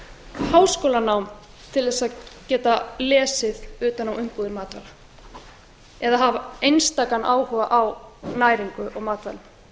háskólanám til að geta lesið utan á umbúðir matvara eða hafa einstakan áhuga á næringu og matvælum